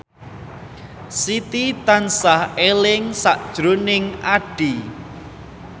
Siti tansah eling sakjroning Addie